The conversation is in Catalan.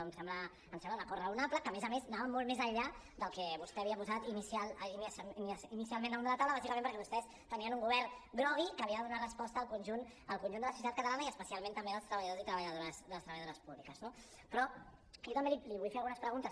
em sembla un acord raonable que a més a més anava molt més enllà del que vostè havia posat inicialment damunt de la taula bàsicament perquè vostès tenien un govern grogui que havia de donar resposta al conjunt de la societat catalana i especialment també dels treballadors i treballadores públiques no però jo també li vull fer algunes preguntes